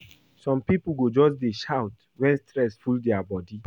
Some pipo go just dey shout wen stress full their bodi.